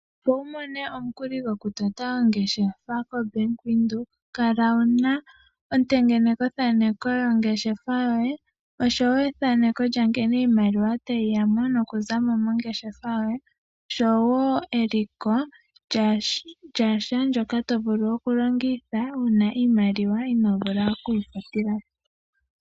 Opo wu mone omukuli go ku tota ongeshefa kombaanga yo Windhoek kala wuna ontengenekothaneko yongeshefa yoye osho woo ethaneko lya nkene iimaliwa tayi yamo noku za mo mongeshefa yoye, osho woo eliko lyasha ndyoka to vulu okulongitha uuna iimaliwa ino vulu oku yi futila po.